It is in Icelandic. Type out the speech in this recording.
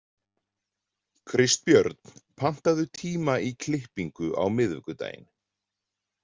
Kristbjörn, pantaðu tíma í klippingu á miðvikudaginn.